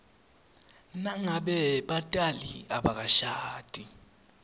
nangabe batali abakashadi